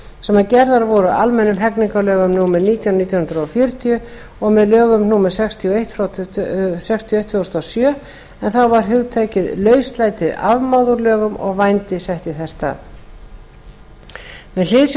sem gerðar voru á almennum hegningarlögum númer nítján nítján hundruð fjörutíu með lögum númer sextíu og eitt tvö þúsund og sjö en þá var hugtakið lauslæti afmáð úr lögunum og vændi sett þess í stað með hliðsjón